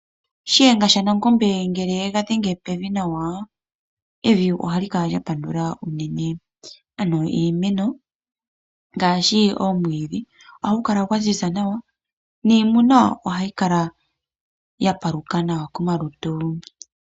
Shiyenga shanangombe ngele yega dhenge pevi nawa evi ohali kala lya pandula unene, ano iimeno ngaashi omwiidhi ohagu kala gwaziza nawa niimuna ohayi kala ya paluka nawa komalutu.